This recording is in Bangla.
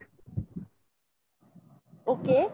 okay